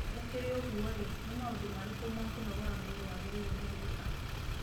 Gũkĩrĩ ũguo-rĩ, nĩ maũndũ marĩkũ ma kũnogora mwĩrĩ wagĩrĩirũo nĩ gwĩka?